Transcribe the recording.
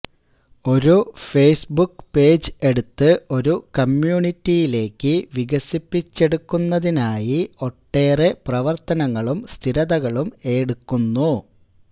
ഒരു Facebook page എടുത്ത് ഒരു കമ്മ്യൂണിറ്റിയിലേക്ക് വികസിപ്പിച്ചെടുക്കുന്നതിനായി ഒട്ടേറെ പ്രവർത്തനങ്ങളും സ്ഥിരതകളും എടുക്കുന്നു